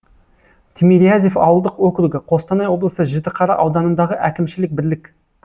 тимирязев ауылдық округі қостанай облысы жітіқара ауданындағы әкімшілік бірлік